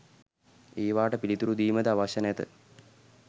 ඒවාට පිළිතුරු දීමද අවශ්‍ය නැත